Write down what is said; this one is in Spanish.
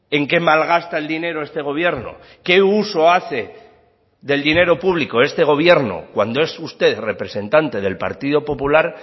en qué malgasta el dinero este gobierno qué uso hace del dinero público este gobierno cuando es usted representante del partido popular